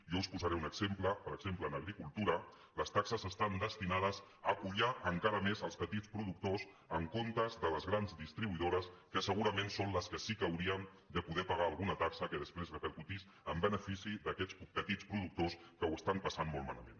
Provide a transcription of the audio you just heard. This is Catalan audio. jo us posaré un exemple per exemple en agricultura les taxes estan destinades a collar encara més els petits productors en comptes de les grans distribuï dores que segurament són les que sí que haurien de poder pagar alguna taxa que després repercutís en benefici d’aquests petits productors que ho estan passant molt malament